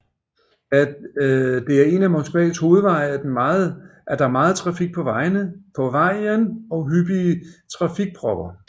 Da det er en af Moskvas hovedveje er der meget trafik på vejen og hyppige trafikpropper